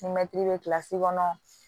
Ni mɛtiri bɛ kilasi kɔnɔ